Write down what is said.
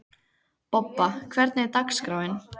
Bobba, hvernig er dagskráin?